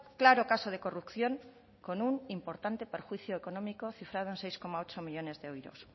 claro caso de corrupción con un importante perjuicio económico cifrado en un seis coma ocho millónes de euros